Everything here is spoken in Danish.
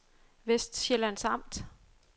Vestsjællands Amt